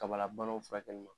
Kabala fɛ